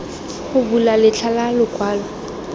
go bula letlha la lokwalo